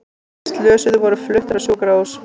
Hinir slösuðu voru fluttir á sjúkrahús